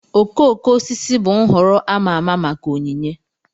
Okooko osisi bụ nhọrọ a ma ama maka onyinye